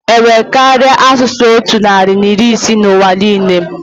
Enwere karịa asụsụ otu narị na iri ise na ụwa niile?